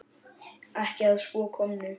Ekki að svo komnu.